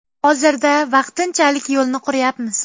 Hozirda vaqtinchalik yo‘lni quryapmiz.